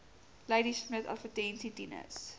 ladismith adv tinus